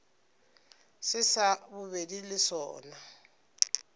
se sa bobedi le sona